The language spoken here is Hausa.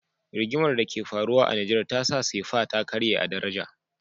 Rigimar da ke faruwa a nijar tasa sefa ta karye a daraja